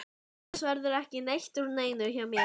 Annars verður ekki neitt úr neinu hjá mér.